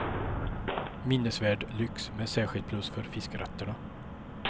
Minnesvärd lyx, med särskilt plus för fiskrätterna.